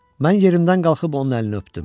Mən yerimdən qalxıb onun əlini öpdüm.